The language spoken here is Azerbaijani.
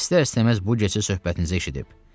İstər-istəməz bu gecə söhbətinizə eşidib.